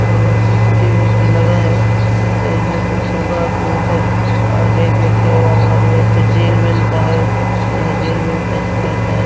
और सी_सी_टी_वि वि टी लगा है तो यह कुछ होगा जो इधर रैक वैक है अलमारी है जेल वेल का है यह जेल वेल ऐसी रेहता है।